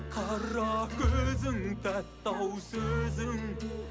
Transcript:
қара көзің тәтті ау сөзің